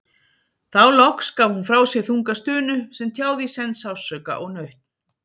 Þá loks gaf hún frá sér þunga stunu sem tjáði í senn sársauka og nautn.